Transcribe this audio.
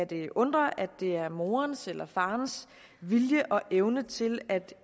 det undre at det er morens eller farens vilje og evne til at